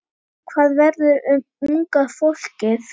Hvað verður um unga fólkið?